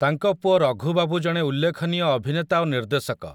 ତାଙ୍କ ପୁଅ ରଘୁ ବାବୁ ଜଣେ ଉଲ୍ଲେଖନୀୟ ଅଭିନେତା ଓ ନିର୍ଦ୍ଦେଶକ ।